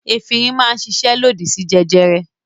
Efirin máa ń ṣiṣẹ́ lòdì sí jẹjẹrẹ.